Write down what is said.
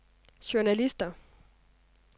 journalister